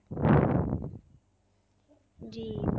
জি